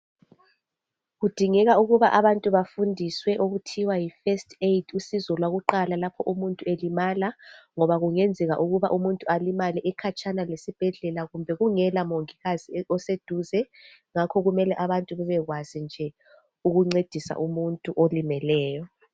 kudingeka ukuba abantu bafundiswe okuthiwa yi first aid usizo lwakuqala oludingakala umutnu engalimala ngoba kungenzeka umuntu ekhatshana lesibhedlela kumbe kungela mongikazi oseduze ngakho abantu kumele bebekwazi nje ukuncedisa umuntu olimeleyo